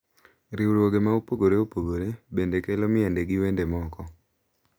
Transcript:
Riwruoge ma opogore opogore bende kelo miende gi wende moko.